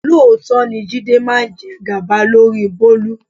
Lóòótọ́ ni Jídé máa ń jẹ gàba lórí Bólú.